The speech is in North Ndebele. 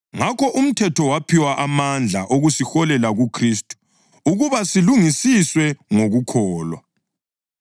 Ngakho umthetho waphiwa amandla okusiholela kuKhristu ukuba silungisiswe ngokukholwa.